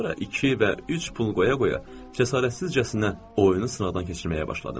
Sonra iki və üç pul qoya-qoya cəsarətsizcəsinə oyunu sınaqdan keçirməyə başladım.